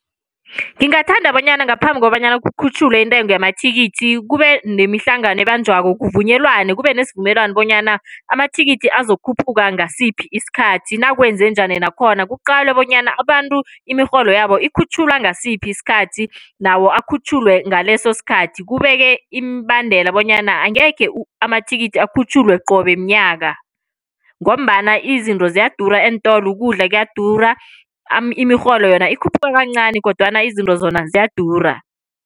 Ngingathanda bonyana ngaphambi kobanyana kukhutjhulwe intengo yamathikithi kube nemihlangano ebanjwako. Kuvunyelwane kube nesivumelwano bonyana amathikithi azokukhutjhulwa ngasiphi isikhathi, nakwenzenjani nakhona. Kuqalwe bonyana abantu imirholo yabo ikhutjhulwa ngasiphi isikhathi, nawo ukhutjhulwe ngaleso sikhathi. Kubekwe imibandela bonyana angekhe amathikithi ukhutjhulwe qobe mnyaka, ngombana izinto ziyadura eentolo. Ukudla kuyadura. Imirholo yona ikhuphuka kancani, kodwana izinto zona ziyadura.